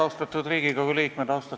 Austatud Riigikogu liikmed!